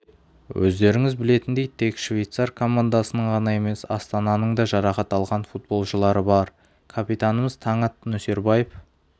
өздеріңіз білетіндей тек швейцар командасының ғана емес астананың да жарақат алған футболшылары бар капитанымыз таңат нөсербаев